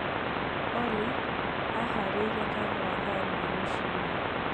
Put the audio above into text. Olly aahaarĩirie kahuwa thaa ĩmwe rũcinĩ